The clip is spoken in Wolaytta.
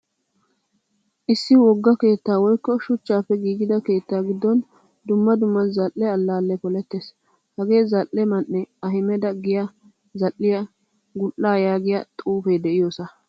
Issi wogga keettaa woykko shuchchappe giigidaa keettaa giddon dumma dumma zal'e allale polettees. Hage zal'e man'e ahmada giya zal'iyaa gul'a yaagiyaa xuufe de'iyosa.